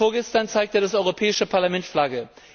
Vorgestern zeigte das Europäische Parlament Flagge.